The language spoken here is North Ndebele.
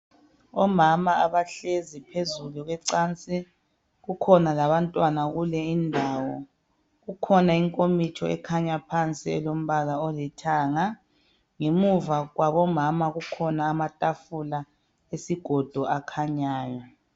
Omama abahlezi phezulu kwencansi kukhona labantwana kule indawo kukhona inkomitsho ekhanya phansi elompala olithanga ngemuva kwabomama kukhona amatafula esigodo akhanyayo.